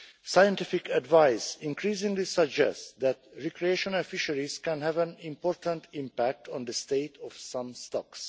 Scientific advice increasingly suggests that recreational fisheries can have an important impact on the state of some stocks.